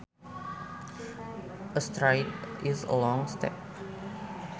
A stride is a long step